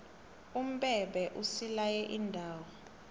umbebhe usilaye iindawo